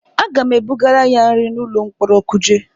Aga m ebugara ya nri n'ụlọ mkpọrọ Kuje.